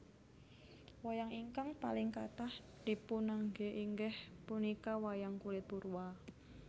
Wayang ingkang paling kathah dipunanggé inggih punika wayang kulit purwa